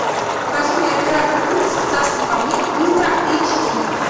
покажи мне оператор кыпс в царстве камней ультра эйч ди